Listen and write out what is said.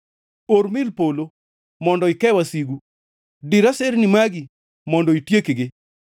Or mil polo, mondo ike wasigu; dir aserni magi, mondo itiekgi.